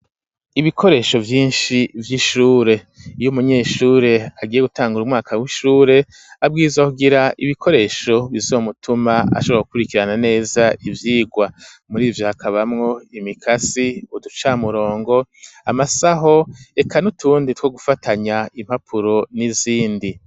Ibikoresho vyinshi vy'ishure, iyo umunyeshure agiye gutangura umwaka w'ishure, abwirizwa kugira ibikoresho bizomutuma ashobora gukurikirana neza ivyigwa, muri ivyo hakabamwo imikasi, uducamurongo, amasaho eka n'utundi two gufatanya impapuro n'izindi.